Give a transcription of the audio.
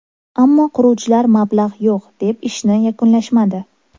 Ammo quruvchilar mablag‘ yo‘q, deb ishni yakunlashmadi.